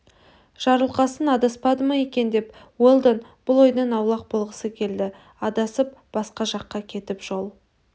жарылқасын адаспады ма екен уэлдон бұл ойдан аулақ болғысы келді адасып басқа жаққа кетіп жол